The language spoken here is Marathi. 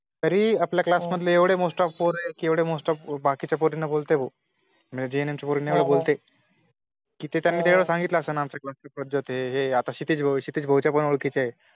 तरी आपल्या class मधले एवढे most off पोरं येत कि एवढे most off बाकीच्या पोरींना बोलते भाऊ, JNM च्या पोरींना बी बोलते , कि ते त्यांनी तेव्हडं सांगितलं असेल ना कि आमच्या class ची पद्धत ए हे आता क्षितिज भोईर, क्षितिज भोईर च्यापण ओळखीचे ए